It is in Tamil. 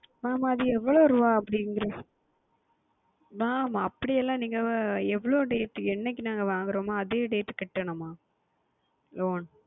Mam அது எவ்வளவு ரூபாய் அப்படி IntrestMam அப்படி எல்லாம் நீங்கள் எவ்வளவு Date என்றைக்கு நாங்கள் வாங்குகின்றமோ அதே Date க்கு செலுத்த வேண்டுமா